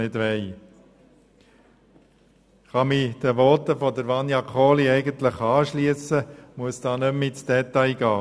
Ich kann mich den vorangehenden Voten anschliessen und muss nicht mehr ins Detail gehen.